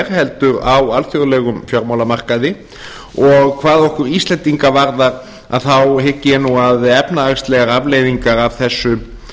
heldur á alþjóðlegum fjármálamarkaði og hvað okkur íslendinga varðar hygg ég nú að efnahagslegar afleiðingar